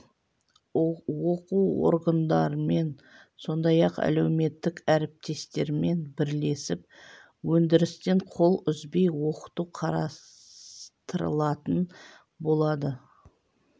оқу орындарымен сондай-ақ әлеуметтік әріптестермен бірлесіп өндірістен қол үзбей оқыту қарастырылатын болады